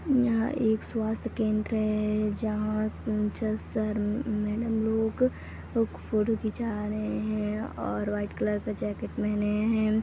यहाँ एक स्वास्थ्य केंद्र है जहाँ सर मैडम लोग फोटो खींचा रहे हैं और व्हाइट कलर का जाकेट पहने हैं।